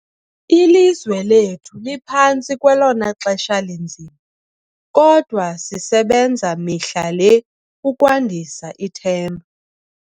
Ilizwe lethu liphantsi kwelona xesha linzima, kodwa sisebenza mihla le ukwandisa ithemba.